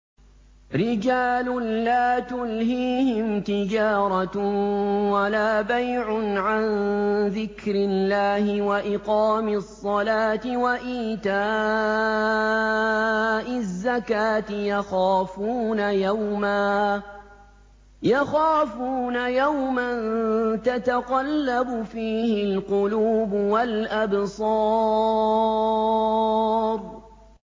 رِجَالٌ لَّا تُلْهِيهِمْ تِجَارَةٌ وَلَا بَيْعٌ عَن ذِكْرِ اللَّهِ وَإِقَامِ الصَّلَاةِ وَإِيتَاءِ الزَّكَاةِ ۙ يَخَافُونَ يَوْمًا تَتَقَلَّبُ فِيهِ الْقُلُوبُ وَالْأَبْصَارُ